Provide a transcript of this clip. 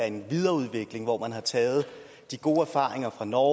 en videreudvikling hvor man har taget de gode erfaringer fra norge